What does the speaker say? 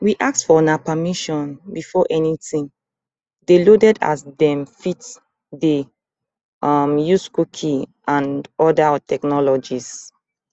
we ask for una permission before anytin dey loaded as dem fit dey um use cookies and oda technologies